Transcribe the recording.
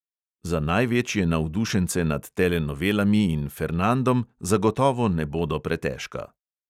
Za največje navdušence nad telenovelami in fernandom zagotovo ne bodo pretežka.